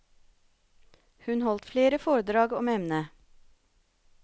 Hun holdt flere foredrag om emnet.